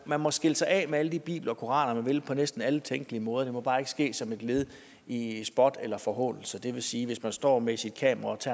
man må skille sig af med alle de bibler og koraner man vil på næsten alle tænkelige måder det må bare ikke ske som et led i spot eller forhånelse det vil sige at hvis man står med sit kamera